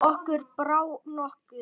Okkur brá nokkuð.